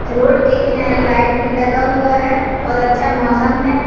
Road के किनारें light भी लगा हुआ हैं बहुत अच्छा मौसम है।